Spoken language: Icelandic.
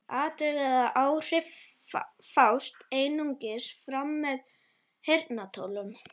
Athugið að áhrifin fást einungis fram með heyrnartólum.